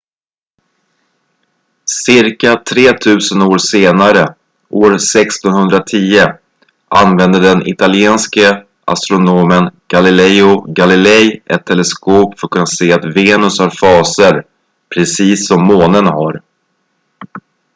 cirka tretusen år senare år 1610 använde den italienske astronomen galileo galilei ett teleskop för att kunna se att venus har faser precis som månen har